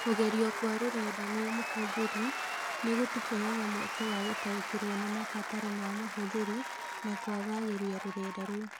Kũgerio kwa rũrenda nĩ mũhũthĩri nĩ gũtũheaga mweke wa gũtaũkĩrũo nĩ mabataro ma mũhũthĩri na kwaagagĩria rũrenda rou.